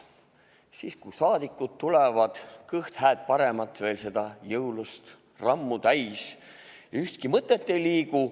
Siis, kui saadikud tulevad, kõht veel seda jõulust hääd-paremat täis, ühtki mõtet ei liigu.